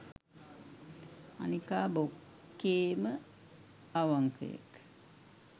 අනිකා බොක්කේම අවංකයෙක්